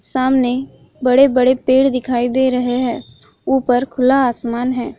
सामने बड़े-बड़े पेड़ दिखाई दे रहे है ऊपर खुला आसमान है।